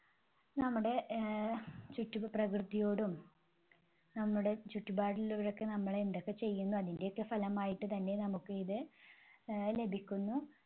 നമ്മുടെ ആഹ് ചുറ്റും പ്രകൃതിയോടും നമ്മുടെ ചുറ്റുപാടിലുള്ളവരോടൊക്കെ നമ്മളെന്തൊക്കെ ചെയ്യുന്നു അതിന്റെയൊക്കെ ഫലമായിട്ട് തന്നെ നമുക്കിത് ആഹ് ലഭിക്കുന്നു.